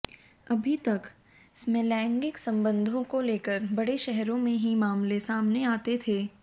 अभी तक समलैंगिक संबंधों को लेकर बड़े शहरों में ही मामले सामने आते थे